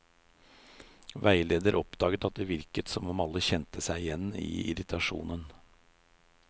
Veileder oppdaget at det virket som om alle kjente seg igjen i irritasjonen.